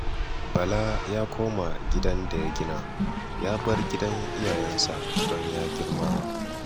Bala ya koma gidan da ya gina, ya bar gidan iyayensa don ya girma